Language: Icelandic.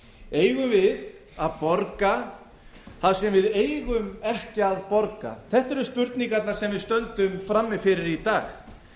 eigum við að borga það sem við eigum ekki að borga þetta eru spurningarnar sem við stöndum frammi fyrir í dag